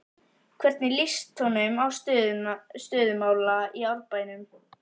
Hvernig lýst honum á stöðu mála í Árbænum?